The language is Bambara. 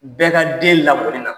Bɛɛ ka den lamɔli la.